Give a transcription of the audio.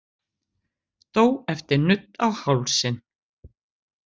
Dó eftir nudd á hálsinn